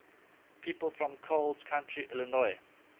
people from coles county illinois